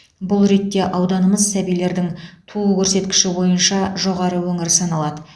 бұл ретте ауданымыз сәбилердің туу көрсеткіші бойынша жоғары өңір саналады